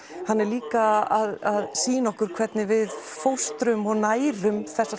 hann er líka að sýna okkur hvernig við fóstrum og nærum þessi